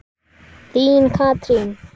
Þín Katrín.